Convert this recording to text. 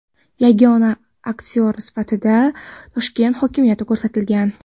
Yagona aksioneri sifatida Toshkent hokimiyati ko‘rsatilgan.